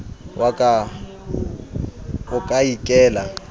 wa ka o ka ikela